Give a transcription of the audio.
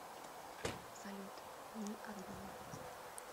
салют ни одной